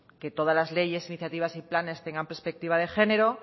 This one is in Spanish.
que todas las leyes iniciativas y planes tengan perspectiva de género